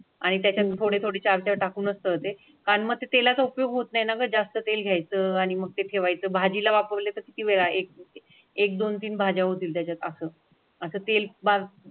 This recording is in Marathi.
आणि त्याच्यानंतर थोडी थोडी चार चार टाकून असतं ते कारण मग तेलाचा उपयोग होत नाहीनगर जास्त तेल घ्यायचं आणि मग ते ठेवायचं भाजीला वापरले तर किती वेळा भाज्या होती त्याच्यात असं असततील पार्क.